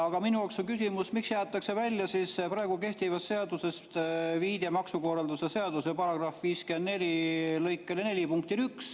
Aga minu jaoks on küsimus, miks jäetakse praegu kehtivast seadusest välja viide maksukorralduse seaduse § 54 lõike 4 punktile 1.